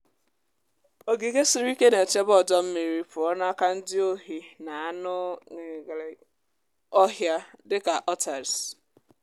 ogige siri ike na-echebe ọdọ mmiri pụọ n’aka ndi ohi na anụ ọhịa dị ka otters